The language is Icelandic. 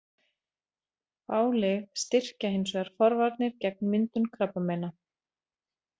Fá lyf styrkja hins vegar forvarnir gegn myndun krabbameina.